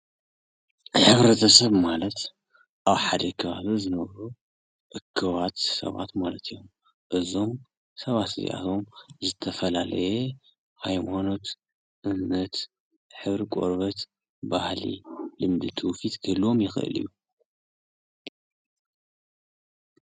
ሕብረተሰብ ማለት ኣብ ሓደ ከባቢ ዝነብሩ እኩባት ሰባት ማለት እዩ፡፡ እዞም ሰባት እዚኣቶም ዝተፈላለየ ሃይማኖት፣ እምነት፣ ሕብሪ ቆርበት፣ ባህሊ፣ ልምዲ፣ ትውፊት ክህልዎም ይኽእል እዩ፡፡